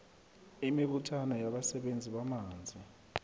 imibuthano yabasebenzisi bamanzi